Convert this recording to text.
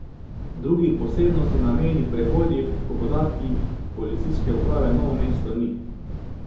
Drugih posebnosti na mejnih prehodih po podatkih Policijske uprave Novo mesto ni.